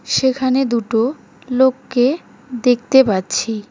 সেখানে দুটো লোককে দেখতে পাচ্ছি।